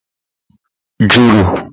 juru